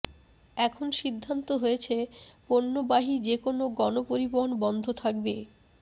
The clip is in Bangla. এখন সিদ্ধান্ত হয়েছে পণ্যবাহী যে কোনো গণ পরিবহন বন্ধ থাকবে